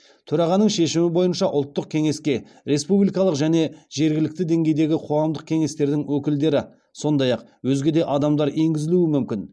төрағаның шешімі бойынша ұлттық кеңеске республикалық және жергілікті деңгейдегі қоғамдық кеңестердің өкілдері сондай ақ өзге де адамдар енгізілуі мүмкін